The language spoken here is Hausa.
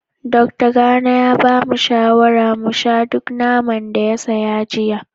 Dokta Gana ya ba da shawarar mu sha duk naman da ya saya jiya